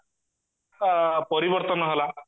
ଆ ପରିବର୍ତନ ହେଲା